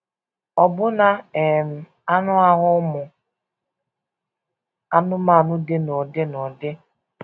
Ọbụna um anụ ahụ ụmụ anụmanụ dị n’ụdị n’ụdị.